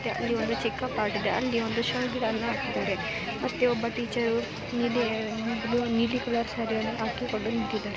ಅಲ್ಲಿ ಒಂದು ಚಿಕ್ಕ ಪಾಟ್‌ ಇದೆ ಅಲ್ಲಿ ಒಂದು ಶೋ ಗಿಡವನ್ನುಹಾಕಿದ್ದಾರೆ ಮತ್ತೆ ಒಬ್ಬ ಟೀಚರ್‌ ನೀಲಿ ಕಲರ್‌ ಸೀರೆಯನ್ನು ಹಾಕಿಕೊಂಡು ನಿಂತಿದ್ದಾರೆ.